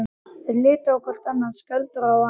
Þeir litu hvor á annan, Skjöldur og hann.